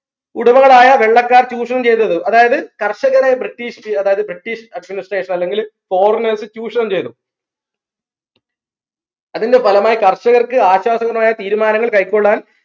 ഉടമകളായ വെള്ളക്കാർ ചൂഷണം ചെയ്തത് അതായത് കർഷകരെ British അതായത് British administration അല്ലെങ്കിൽ foreigners ചൂഷണം ചെയ്തു അതിന്റെ ഫലമായി കർഷകർക്ക് ആശ്വാസഗുണമായ തീരുമാനങ്ങൾ കൈക്കൊള്ളാൻ